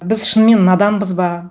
біз шынымен наданбыз ба